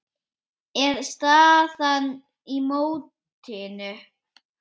er staðan í mótinu.